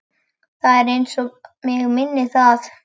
Það er eins og mig minni það.